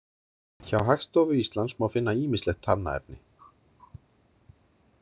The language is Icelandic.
Hjá Hagstofu Íslands má finna ýmislegt talnaefni.